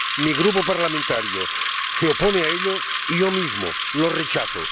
Mi grupo parlamentario se opone a ello y yo mismo lo rechazo.